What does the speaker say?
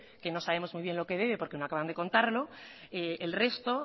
que no sabemos muy bien lo que debe porque no acaban de contarlo el resto